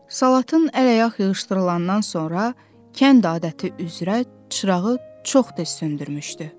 Salatın əl-ayaq yığışdırılandan sonra, kənd adəti üzrə çırağı çox tez söndürmüşdü.